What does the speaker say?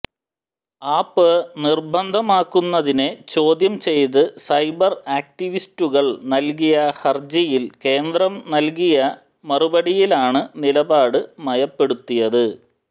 app നിർബന്ധമാക്കുന്നതിനെ ചോദ്യം ചെയ്ത് സൈബർ ആക്ടിവിസ്റ്റുകൾ നൽകിയ ഹർജിയിൽ കേന്ദ്രം നൽകിയ മറുപടിയിലാണ് നിലപാട് മയപ്പെടുത്തിയത്